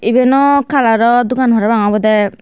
ibeno kalaro dogan parapang obodey.